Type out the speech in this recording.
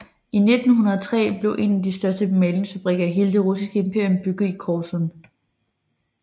I 1903 blev en af de største malingsfabrikker i hele det russiske imperium bygget i Korsun